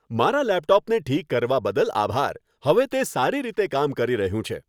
મારા લેપટોપને ઠીક કરવા બદલ આભાર. તે હવે સારી રીતે કામ કરી રહ્યું છે.